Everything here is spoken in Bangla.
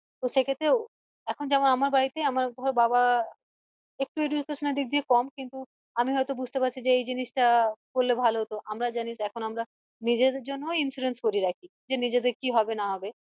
তো সেক্ষেত্রে এখন যেমন আমার বাড়িতে আমার ধর বাবা একটু education এর দিক দিয়ে কম কিন্তু আমি হয়তো বুঝতে পারছি যে এই জিনিস টা করলে ভালো হতো আমরা জানিস এখন আমরা নিজেদের জন্য ও insurance করে রাখি যে নিজেদের কি হবে না হবে